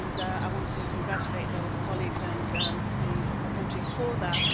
I want to congratulate those colleagues and the country for that.